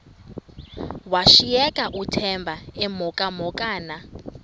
washiyeka uthemba emhokamhokana